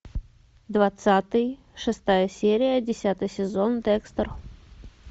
двадцатый шестая серия десятый сезон декстер